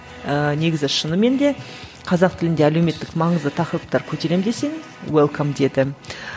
ыыы негізі шынымен де қазақ тілінде әлеуметтік маңызды тақырыптар көтерем десең уэлкэм деді